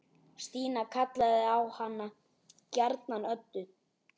Stína kallaði hana gjarnan Öddu.